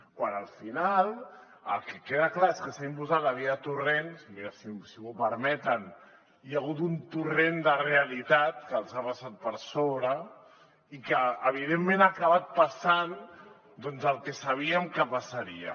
quan al final el que queda clar és que s’ha imposat la via torrent i si m’ho permeten hi ha hagut un torrent de realitat que els ha vessat per sobre i que evidentment ha acabat passant doncs el que sabíem que passaria